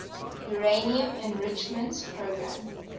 uranium enrichment program